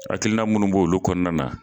Akilina munnu b'o olu kɔnɔna na